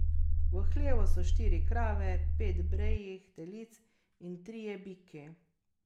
V hlevu so štiri krave, pet brejih telic in trije biki.